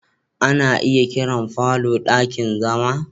Ana iya kiran falo ɗakin zama.